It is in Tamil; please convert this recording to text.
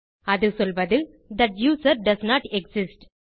அது சொல்வது தட் யூசர் டோஸ்ன்ட் எக்ஸிஸ்ட்